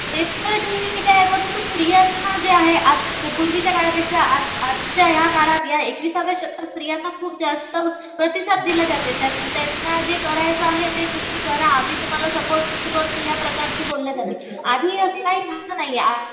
ते तर ठीक आहे. परंतु स्त्रियांना जे आहे आज पूर्वीच्या काळपेक्षा आजच्या या काळात या एकवीसच्या शतकात स्त्रियांना खूप जास्त प्रतिसाद दिला जाते. त्यांना जे करायचं आहे ते तुम्ही करा. आम्ही तुम्हाला सपोर्ट करतो या प्रकारच बोलल जातं आधी असं काही व्हायचं नाही आधी